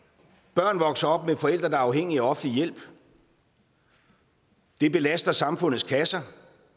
børn vokser op med forældre der er afhængige af offentlig hjælp det belaster samfundets kasser